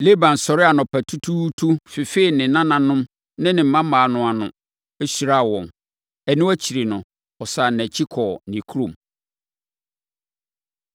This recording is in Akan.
Laban sɔree anɔpatutuutu fefee ne nananom ne ne mmammaa no ano, hyiraa wɔn. Ɛno akyiri no, ɔsane nʼakyi kɔɔ ne kurom.